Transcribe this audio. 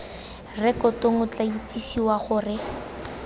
rekotong o tla itsisiwe gore